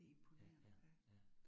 Ja ja ja